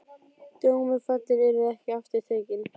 Dómur fallinn, yrði ekki aftur tekinn.